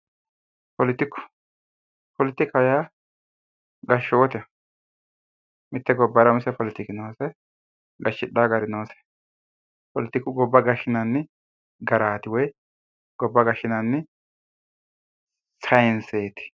Poletiku Poletiku yaa gashshooteho mitte gobbara umise poletiku noose gashshidhawo gari noose poletiku gobba gashshinanni garaati woy gobba gashshinanni chainseeti